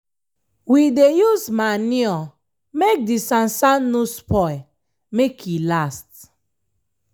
we dey use manure make the sansan no spoil make e last.